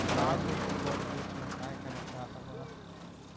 त्रास होतोय भरपूर सर काय करायचं आता बघा